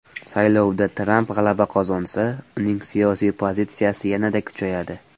Saylovda Tramp g‘alaba qozonsa, uning siyosiy pozitsiyasi yanada kuchayadi.